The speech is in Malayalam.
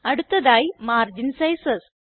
അടുത്തതായി മാർഗിൻ സൈസസ്